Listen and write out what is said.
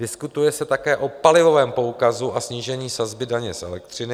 Diskutuje se také o palivovém poukazu a snížení sazby daně z elektřiny.